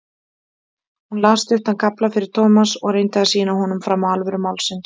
Hún las stuttan kafla fyrir Thomas og reyndi að sýna honum fram á alvöru málsins.